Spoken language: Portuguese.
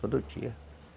Todo dia.